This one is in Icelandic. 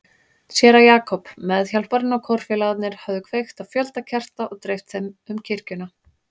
Séra Jakob, meðhjálparinn og kórfélagarnir höfðu kveikt á fjölda kerta og dreift þeim um kirkjuna.